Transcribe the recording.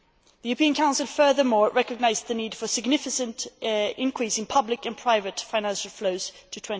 The European Council furthermore recognised the need for a significant increase in public and private financial flows up to